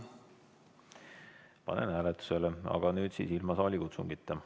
Panen hääletusele, aga nüüd siis ilma saalikutsungita.